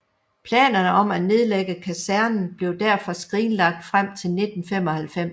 Planerne om at nedlægge kasernen blev derfor skrinlagt frem til 1995